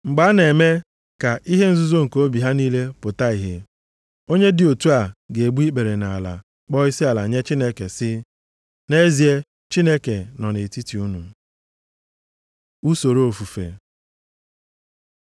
Mgbe a na-eme ka ihe nzuzo nke obi ha niile pụta ìhè, onye dị otu a ga-egbu ikpere nʼala kpọọ isiala nye Chineke sị, “Nʼezie, Chineke nọ nʼetiti unu.” Usoro Ofufe